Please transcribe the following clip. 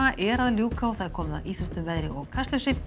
er að ljúka og komið að íþróttum veðri og Kastljósi